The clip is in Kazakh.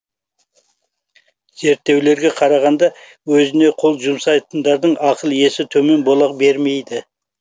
зерттеулерге қарағанда өзіне қол жұмсайтындардың ақыл есі төмен бола бермейді